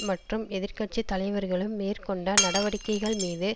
மற்றும் எதிர் கட்சி தலைவர்களும் மேற்கொண்ட நடவடிக்கைகள் மீது